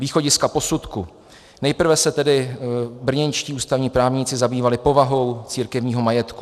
Východiska posudku - nejprve se tedy brněnští ústavní právníci zabývali povahou církevního majetku.